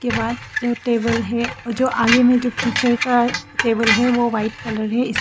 बाद जो टेबल है और जो आगे में जो टीचर का टेबल है वो व्हाइट कलर है इस--